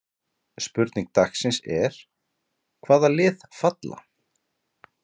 Spurning dagsins er: Hvaða lið falla?